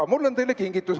Aga mul on teile kingitus.